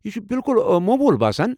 یہِ چھُ بِلکُل موموٗل باسان۔